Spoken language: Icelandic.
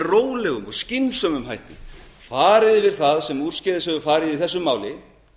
rólega og skynsamlega farið yfir það sem úrskeiðis hefur farið í þessu máli